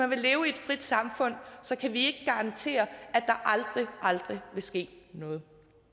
vil leve i et frit samfund så kan vi garantere at der aldrig aldrig vil ske noget